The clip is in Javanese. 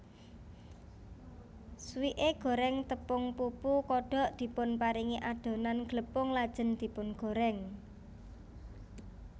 Swike goreng tepung pupu kodok dipunparingi adonan glepung lajeng dipungorèng